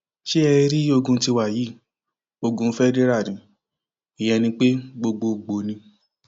ṣé ẹ tiẹ rí ogún tiwa yìí ogun fedira ní ìyẹn ni pé gbogbogbòó ni